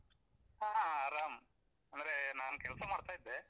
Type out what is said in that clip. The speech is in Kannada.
ಹಾ ಆರಾಮ್, ಅಂದ್ರೆ ನಾನು ಕೆಲ್ಸ ಮಾಡ್ತಾ ಇದ್ದೆ.